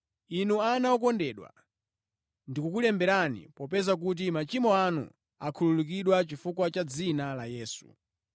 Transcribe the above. Inu ana okondedwa, ndikukulemberani popeza kuti machimo anu akhululukidwa chifukwa cha dzina la Yesu.